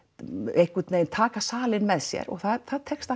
einhvern veginn taka salinn með sér og það tekst